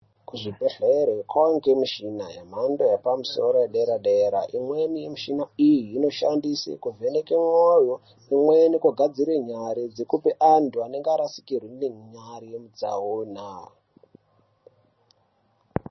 Kuzvibhedhlere kwakuoneke michina nemhando yepamusoro yedera dera imweni mishina iyi inoshandiswe kuvheneke mwoyo imweni kugadzire nyari dzekupe anhu anenge arasikirwe nenyari mutsaona.